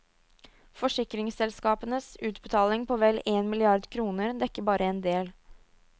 Forsikringsselskapenes utbetaling på vel én milliard kroner dekker bare en del.